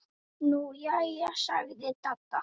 Nú jæja sagði Dadda.